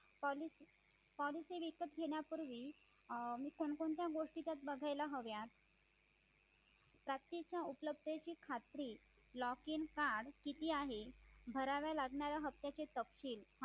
policy विकत घेण्यापूर्वी मी कोणकोणत्या गोष्टी त्यात बघायला हव्या तारखेची उपलब्ध ची खात्री lock in card किती आहे भराव्या लागणाऱ्या हफ्त्याचे तपशील